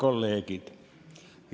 Head kolleegid!